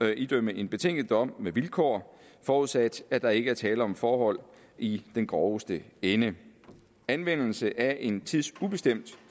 idømme en betinget dom med vilkår forudsat at der ikke er tale om forhold i den groveste ende anvendelse af en tidsubestemt